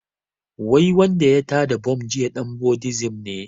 Wai wanda ya tada bam jiya ɗan buddism ne